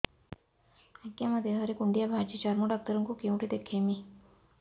ଆଜ୍ଞା ମୋ ଦେହ ରେ କୁଣ୍ଡିଆ ବାହାରିଛି ଚର୍ମ ଡାକ୍ତର ଙ୍କୁ କେଉଁଠି ଦେଖେଇମି